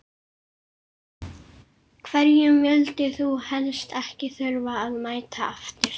Hverjum vildir þú helst ekki þurfa að mæta aftur?